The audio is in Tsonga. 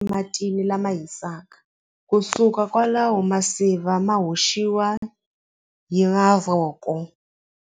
Matini lama hisaka kusuka kwalaho masiva ma hoxiwa hi mavoko.